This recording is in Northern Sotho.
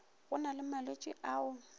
go na le malwetši ao